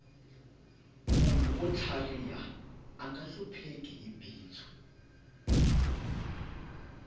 munhu wo tlhariha anga hlupheki hi bindzu